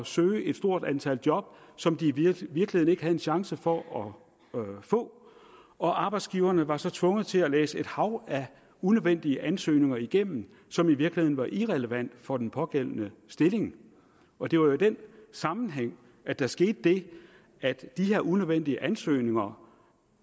søge et stort antal job som de i virkeligheden chance for at få og arbejdsgiverne var så tvunget til at læse et hav af unødvendige ansøgninger igennem som i virkeligheden var irrelevante for den pågældende stilling og det var i den sammenhæng at der skete det at de her unødvendige ansøgninger